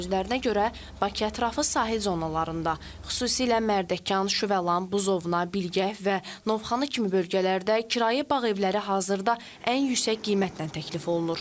Onun sözlərinə görə, Bakı ətrafı sahil zonalarında, xüsusilə Mərdəkan, Şüvəlan, Buzovna, Bilgəh və Novxanı kimi bölgələrdə kirayə bağ evləri hazırda ən yüksək qiymətlə təklif olunur.